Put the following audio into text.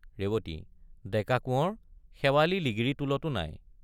ৰেৱতী— ডেকা কোঁৱৰ শেৱালি লিগিৰীটোলতো নাই।